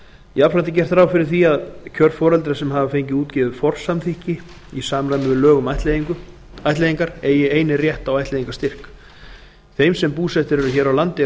jafnframt er gert ráð fyrir að kjörforeldrar sem hafa fengið útgefið forsamþykki í samræmi við lög um ættleiðingar eigi einir rétt á ættleiðingarstyrk þeim sem búsettir eru hér á landi